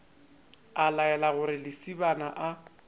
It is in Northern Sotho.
a laela gore lesibana a